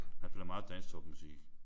Han spiller meget dansktopmusik